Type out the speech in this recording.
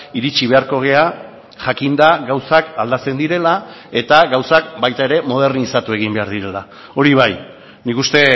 iritsi beharko gara jakinda gauzak aldatzen direla eta gauzak baita ere modernizatu egin behar direla hori bai nik uste